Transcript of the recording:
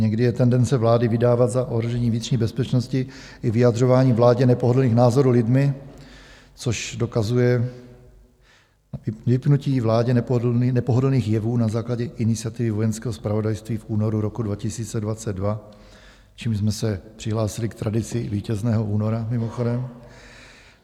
Někdy je tendence vlády vydávat za ohrožení vnitřní bezpečnosti i vyjadřování vládě nepohodlných názorů lidmi, což dokazuje vypnutí vládě nepohodlných jevů na základě iniciativy Vojenského zpravodajství v únoru roku 2022, čímž jsme se přihlásili k tradici Vítězného února mimochodem.